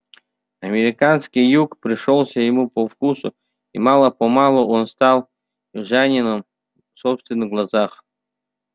американский юг пришёлся ему по вкусу и мало-помалу он стал южанином в собственных глазах